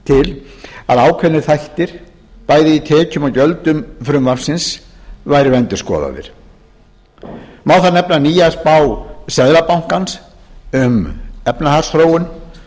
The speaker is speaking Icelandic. til að ákveðnir þættir bæði í tekjum og gjöldum frumvarpsins væru endurskoðaðir má þar nefna nýja spá seðlabankans um efnahagsþróun